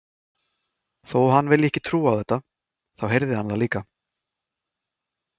Þó að hann vilji ekki trúa á þetta, þá heyrði hann það líka.